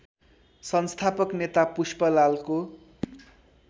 संस्थापक नेता पुष्पलालको